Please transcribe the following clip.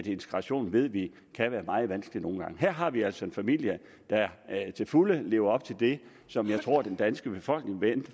integration ved vi kan være meget vanskeligt nogle gange her har vi altså en familie der til fulde lever op til det som jeg tror den danske befolkning